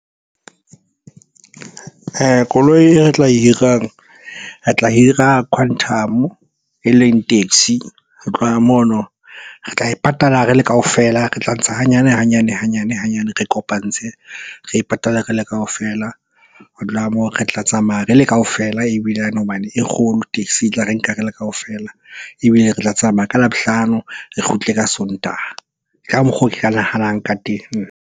Koloi e tla e hirang, re tla hira quantum-o e leng taxi. Ho tloha mono re tla e patala re le kaofela, re tla ntsha hanyane, hanyane, hanyane hanyane. Re kopantse, re e patale re le kaofela. Ho moo re tla tsamaya re le kaofela ebilane hobane e kgolo, taxi e tla re nka re le kaofela. Ebile re tla tsamaya ka Labohlano, re kgutle ka Sontaha. Ka mokgwa oo ke ka nahanang ka teng.